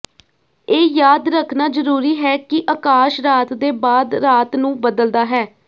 ਇਹ ਯਾਦ ਰੱਖਣਾ ਜ਼ਰੂਰੀ ਹੈ ਕਿ ਅਕਾਸ਼ ਰਾਤ ਦੇ ਬਾਅਦ ਰਾਤ ਨੂੰ ਬਦਲਦਾ ਹੈ